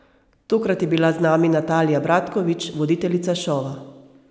Tokrat je bila z nami Natalija Bratkovič, voditeljica šova.